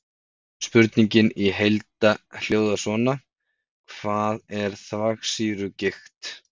Spurningin í heild hljóðar svona: Hvað er þvagsýrugigt?